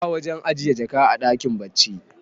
ba wajen ajiye jaka a dakin bacci